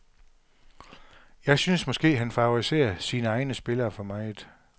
Jeg synes måske, han favoriserer sine egne spillere for meget.